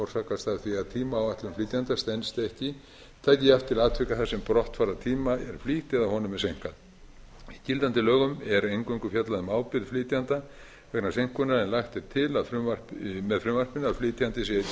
orsakast að því að tímaáætlun flytjanda stenst ekki taki jafnt til atvika þar sem brottfarartíma er flýtt eða honum seinkað í gildandi lögum er eingöngu fjallað um ábyrgð flytjanda vegna seinkunar en lagt er til með frumvarpinu að flytjanda sé einnig